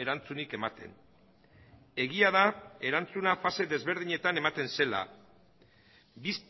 erantzunik ematen egia da erantzuna fase desberdinetan ematen zela